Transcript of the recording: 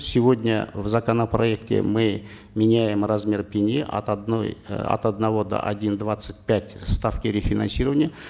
сегодня в законопроекте мы меняем размер пени от одной э от одного до один двадцать пять ставки рефинансирования